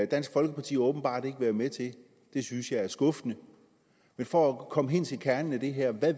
dansk folkeparti åbenbart ikke være med til og det synes jeg er skuffende for at komme ind til kernen i det her